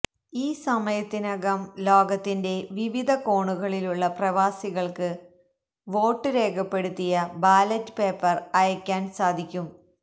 ഈ സമയത്തിനകം ലോകത്തിന്റെ വിവിധ കോണുകളിലുള്ള പ്രവാസികൾക്ക് വോട്ട് രേഖപ്പെടുത്തിയ ബാലറ്റ് പേപ്പർ അയയ്ക്കാൻ സാധിക്കും